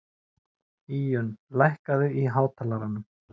Íunn, lækkaðu í hátalaranum.